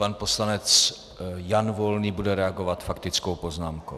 Pan poslanec Jan Volný bude reagovat faktickou poznámkou.